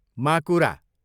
माकुरा